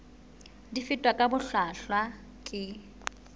di fetwa ka bohlwahlwa ke